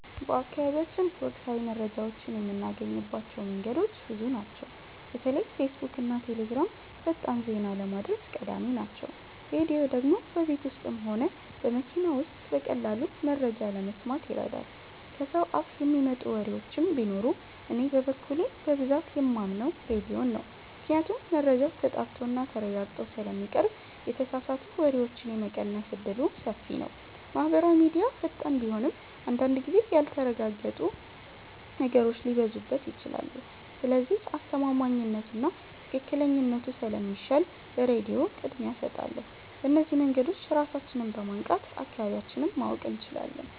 በአካባቢያችን ወቅታዊ መረጃዎችን የምናገኝባቸው መንገዶች ብዙ ናቸው። በተለይ ፌስቡክና ቴሌግራም ፈጣን ዜና ለማድረስ ቀዳሚ ናቸው። ራድዮ ደግሞ በቤት ውስጥም ሆነ በመኪና ውስጥ በቀላሉ መረጃ ለመስማት ይረዳል። ከሰው አፍ የሚመጡ ወሬዎችም ቢኖሩ እኔ በበኩሌ በብዛት የማምነው ራድዮን ነው ምክንያቱም መረጃው ተጣርቶና ተረጋግጦ ስለሚቀርብ የተሳሳቱ ወሬዎችን የመቀነስ እድሉ ሰፊ ነው። ማህበራዊ ሚድያ ፈጣን ቢሆንም አንዳንድ ጊዜ ያልተረጋገጡ ነገሮች ሊበዙበት ይችላሉ። ስለዚህ አስተማማኝነቱና ትክክለኛነቱ ስለሚሻል ለራድዮ ቅድሚያ እሰጣለሁ። በእነዚህ መንገዶች ራሳችንን በማንቃት አካባቢያችንን ማወቅ እንችላለን።